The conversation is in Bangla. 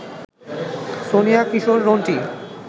সোনিয়া, কিশোর, রন্টি,